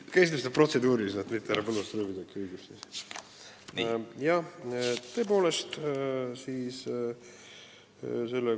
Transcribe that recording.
Kuidas nüüd protseduuriliselt õige on, et mitte härra Põlluaasaga läbisegi rääkida?